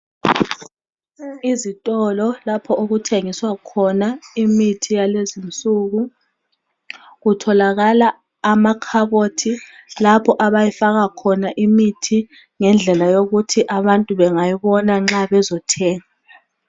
Izitolo lapho okuthengiswa khona imithi yalezinsuku kutholakala amakhabothi lapho abayifaka khona imithi ngendlela yokuthi abantu bengayibona nxa bezothenga.